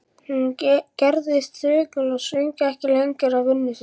Hún gerðist þögul og söng ekki lengur við vinnu sína.